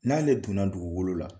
N'ale donna dugukolo la.